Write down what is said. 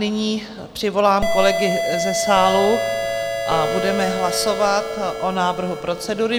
Nyní přivolám kolegy ze sálu a budeme hlasovat o návrhu procedury.